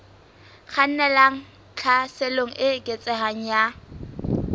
kgannelang tlhaselong e eketsehang ya